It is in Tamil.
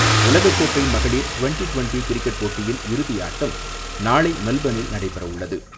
உலகக்கோப்பை மகளிர் டுவெண்டி டுவெண்டி கிரிக்கெட் போட்டியின் இறுதி ஆட்டம், நாளை மெல்பர்னில் நடைபெற உள்ளது.